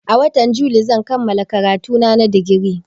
A watan yuli zan kammala karatuna na digiri